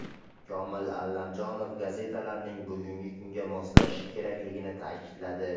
Komil Allamjonov gazetalarning bugungi kunga moslashishi kerakligini ta’kidladi.